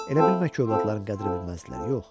Elə bilmə ki, övladların qədrini bilməzlər, yox.